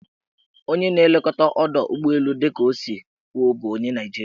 Onye na-elekọta ọdọụgbọelu dịka o si kwuo bụ onye Naijiria.